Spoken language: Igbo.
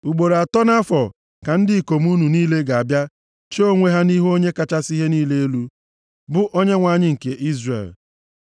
Ugboro atọ nʼafọ ka ndị ikom unu niile ga-abịa chee onwe ha nʼihu Onye kachasị ihe niile elu, bụ Onyenwe anyị nke Izrel.